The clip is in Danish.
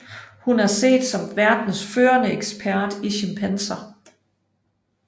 Hun er set som verdens førende ekspert i chimpanser